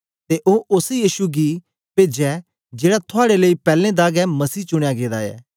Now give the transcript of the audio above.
ते ओ ओस यीशु गी पेजै जेड़ा थुआड़े लेई पैलैं दा गै मसीह चुनयां गेदा ऐ